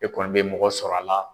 E kɔni bɛ mɔgɔ sɔrɔ a la.